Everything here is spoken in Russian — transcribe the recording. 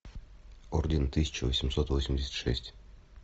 орден тысяча восемьсот восемьдесят шесть